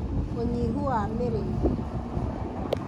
ũnyihu wa mĩrĩĩre